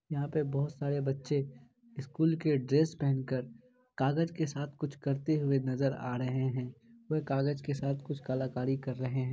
यहाँ पे बहुत सारे बच्चे स्कूल के ड्रेस पहन कर कागज के साथ कुछ करते हुए नजर आ रहे हैं। वह कागज के साथ कुछ कलाकारी कर रहे हैं।